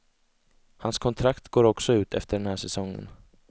Hans kontrakt går också ut efter den här säsongen.